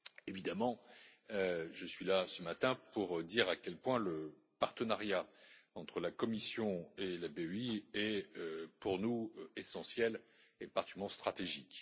Évidemment, je suis là ce matin pour dire à quel point le partenariat entre la Commission et la BEI est, pour nous, essentiel et particulièrement stratégique.